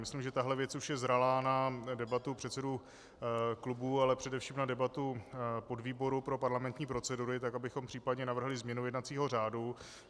Myslím, že tahle věc už je zralá na debatu předsedů klubů, ale především na debatu podvýboru pro parlamentní procedury, tak abychom případně navrhli změnu jednacího řádu.